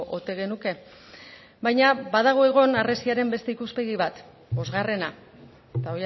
ote genuke baina badago egon harresiaren beste ikuspegi bat bosgarrena eta